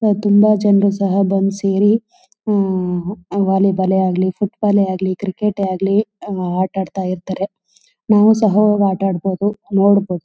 ನಾವು ತುಂಬ ಜನರು ಸಹ ಸೇರಿ ವೊಲ್ಲಿ ಬಾಲ್ ಆಗ್ಲಿ ಫುಟ್ಬಾಲ್ ಆಗ್ಲಿ ಕ್ರಿಕೆಟ್ ಆಗ್ಲಿ ಆಟ ಆಡ್ತಿರ್ತಾರೆ. ನಾನು ಸಹ ಹೋಗಿ ಆಟ ಆಡ್ಬಹುದು ನೋಡಬಹುದು.